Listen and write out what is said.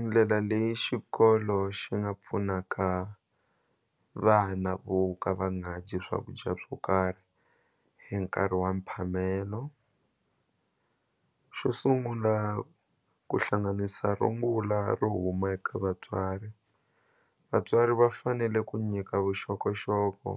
Ndlela leyi xikolo xi nga pfunaka vana vo ka va nga dyi swakudya swo karhi hi nkarhi wa mphamelo xo sungula ku hlanganisa rungula ro huma eka vatswari vatswari va fanele ku nyika vuxokoxoko